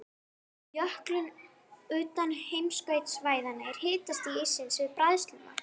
Í jöklum utan heimskautasvæðanna er hitastig íssins við bræðslumark.